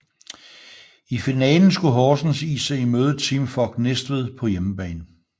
I finalen skulle Horsens IC møde Team Fog Næstved på hjemmebane